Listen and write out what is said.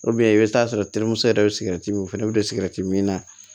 i bɛ t'a sɔrɔ terimuso yɛrɛ bɛ sigɛrɛti min o fana bɛ don sigɛriti min na